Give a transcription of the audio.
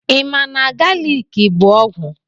Ị ma na galiki bụ ọgwụ?